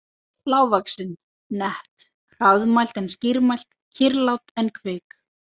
Lágvaxin, nett, hraðmælt en skýrmælt, kyrrlát en kvik.